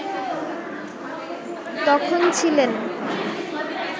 তখন ছিলেন